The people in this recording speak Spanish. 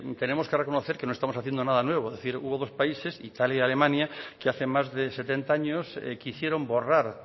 tenemos que reconocer que no estamos haciendo nada nuevo es decir hubo dos países italia y alemania que hace más de setenta años que hicieron borrar